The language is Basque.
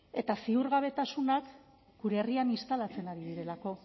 eta ziurgabetasunak gure herrian instalatzen ari direlako